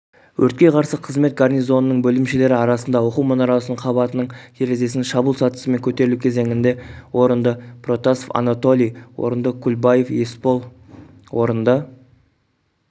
өртке қарсы қызмет гарнизонының бөлімшелері арасында оқу мұнарасының қабатының терезесіне шабуыл сатысымен көтерілу кезеңінде орынды протасов анатолий орынды кульбаев есбол орынды